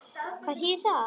Og hvað þýðir það?